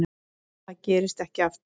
Það gerist ekki aftur.